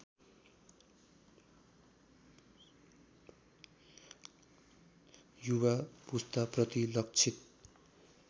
युवा पुस्ताप्रति लक्षित